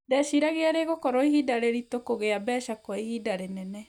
"Ndeciragia rĩgukorwa ihinda rĩritũ kugĩa mbeca kwa ihinda rĩnene".